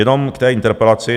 Jenom k té interpelaci.